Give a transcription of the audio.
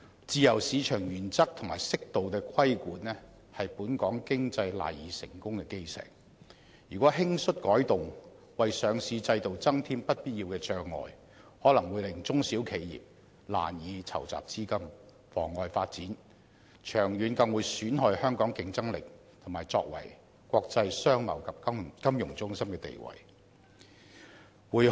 自由市場原則和適度的規管是本港經濟賴以成功的基石，如果輕率改動，為上市制度增添不必要的障礙，可能會令中小型企業難以籌集資金，妨礙發展，長遠更會損害香港的競爭力，以及作為國際商貿及金融中心的地位。